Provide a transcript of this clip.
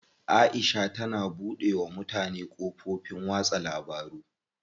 Aisha tana buɗe wa mutane kafofin watsa labaru.